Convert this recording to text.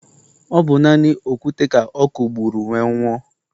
ọ bụ naanị okwute ka ọ kụgburu wee nwụọ.